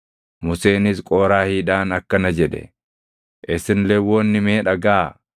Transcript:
Museenis Qooraahiidhaan akkana jedhe; “Isin Lewwonni mee dhagaʼaa!